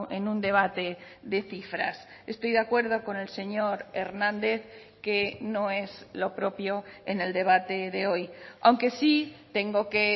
en un debate de cifras estoy de acuerdo con el señor hernández que no es lo propio en el debate de hoy aunque sí tengo que